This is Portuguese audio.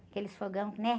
Aqueles fogão, né?